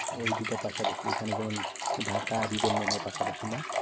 ওই দুটা পাশাপাশি এখানে যেমন ঢাকা আর ইটা মনে হয় পাশাপাশি না?